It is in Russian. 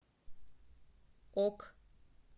ок